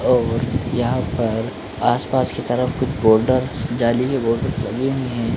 और यहां पर आस - पास की तरफ कुछ बोल्डर जाली भी बोल्डर लगे हुए हैं ।